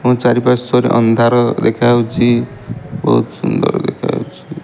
ଏବଂ ଚାରି ପାର୍ଶ୍ୱରେ ଅନ୍ଧାର ଦେଖାଯାଉଚି ବହୁତ ସୁନ୍ଦର ଦେଖା ଯାଉଛି।